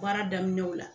Baara daminɛw la